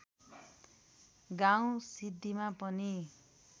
गाउँ सिद्धिमा पनि